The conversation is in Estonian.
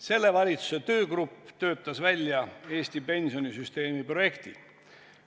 Selle valitsuse töögrupp töötas välja Eesti pensionisüsteemi projekti.